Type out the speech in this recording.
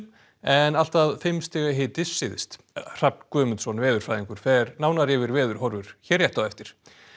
en allt að fimm stiga hiti syðst Hrafn Guðmundsson veðurfræðingur fer nánar yfir veðurhorfur hér rétt á eftir